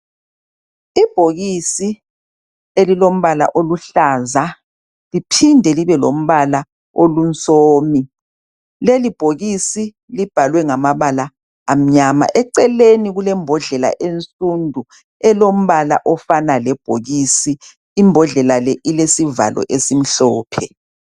Ibhokisi elilombala oluhlaza liphinde libelombala olunsomi. Lelibhokisi libhalwe ngamabala amnyama. Eceleni kulembodlela ensundu elombala ofana lebhokisi. Imbodlela le ilesivalo esimhlophe.